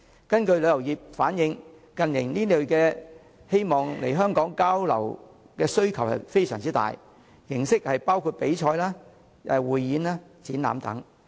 根據旅遊業反映，近年，境外團體對這類來港交流的活動的需求甚大，活動形式包括比賽、匯演、展覽等。